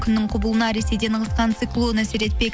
күннің құбылуына ресейден ығысқан циклон әсер етпек